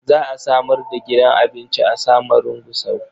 Za a samar da gidan abinci a Samarun Gusau.